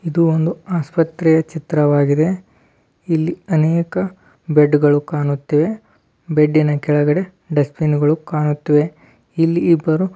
ಇದು ಒಂದು ಆಸ್ಪತ್ರೆಯ ಚಿತ್ರವಾಗಿದೆ ಇಲ್ಲಿ ಅನೇಕ ಬೆಡ್ಗಳು ಕಾಣುತ್ತಿದೆ ಬೆಡ್ಡಿನ ಕೆಳಗಡೆ ಡಸ್ಟ್ ಬಿನ್ ಗಳು ಕಾಣುತ್ತಿವೆ ಇಲ್ಲಿ ಇಬ್ಬರು --